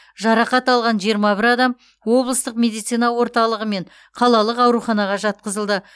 жарақат алған жиырма бір адам облыстық медицина орталығы мен қалалық ауруханаға жатқызылды